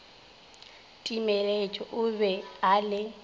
timeletše o be a le